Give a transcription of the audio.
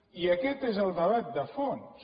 i aquest és el debat de fons